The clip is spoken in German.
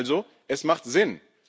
Da sehen wir also Es macht Sinn.